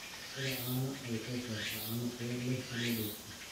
Lo'da caanaha ayaa soo saara caano tayo sare leh oo loo dhoofiyo.